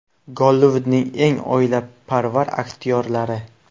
Gollivudning eng oilaparvar aktyorlari.